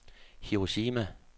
Hiroshima